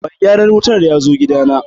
mai gyaran wuta yazo gida na